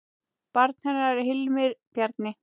Barn hennar er Hilmir Bjarni.